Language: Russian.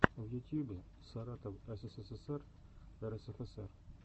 в ютьюбе саратов ссср рсфср